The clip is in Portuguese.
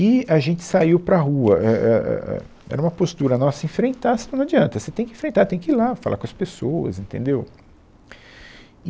E a gente saiu para a rua, é, é, é, era uma postura nossa, enfrentar se não não adianta, você tem que enfrentar, tem que ir lá falar com as pessoas, entendeu?